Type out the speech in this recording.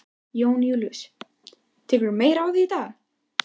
Jón Júlíus: Tekurðu meira á því í dag?